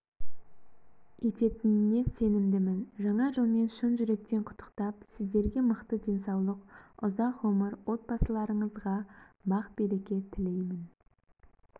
ететініне сенімдімін жаңа жылмен шын жүректен құттықтап сіздерге мықты денсаулық ұзақ ғұмыр отбасыларыңызға бақ-береке тілеймін